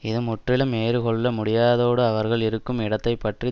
இது முற்றிலும் ஏறுக்கொள்ள முடியாததோடு அவர்கள் இருக்கும் இடத்தை பற்றிய